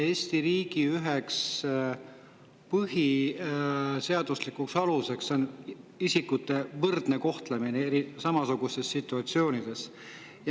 Eesti riigi üheks põhiseaduslikuks aluseks on isikute võrdne kohtlemine samasugustes situatsioonides.